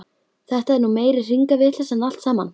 Þetta er nú meiri hringavitleysan allt saman!